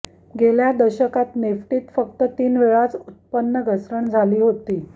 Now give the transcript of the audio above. गेल्या दशकात निफ्टीत फक्त तीन वेळाच उत्पन्न घसरण झाली होती